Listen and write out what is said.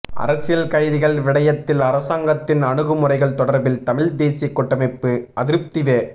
அரசியல் கைதிகள் விடயத்தில் அரசாங்கத்தின் அணுகுமுறைகள் தொடர்பில் தமிழ் தேசிய கூட்டமைப்பு அதிருப்தி வெ